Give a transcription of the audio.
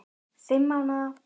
Fimm mánaða